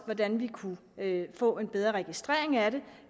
hvordan man kunne få en bedre registrering af det